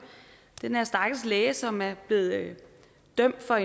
den her stakkels læge som er blevet dømt for